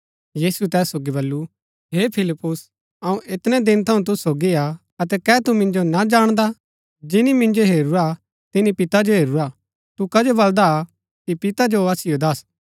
यीशुऐ तैस सोगी बल्लू हे फिलिप्पुस अऊँ ऐतनै दिन थऊँ तूसु सोगी हा अतै कै तू मिन्जो ना जाणदा जिनी मिन्जो हेरूरा तिनी पिता जो हेरूरा तू कजो बलदा कि पिता जो असिओ दस्स